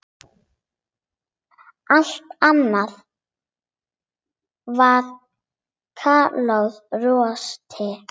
Allt annað var kallað rosti.